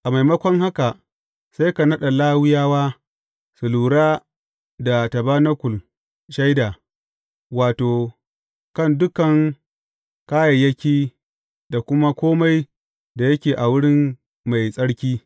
A maimakon haka sai ka naɗa Lawiyawa su lura da tabanakul Shaida, wato, kan dukan kayayyaki da kuma kome da yake na wuri mai tsarki.